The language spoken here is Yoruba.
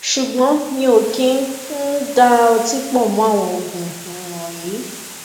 ṣùgbọn mi ò kì í um da ọtí pọ mọ àwọn oogun um wọnyí